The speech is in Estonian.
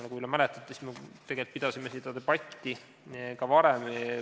Nagu te mäletate, siis tegelikult me oleme pidanud seda debatti ka varem.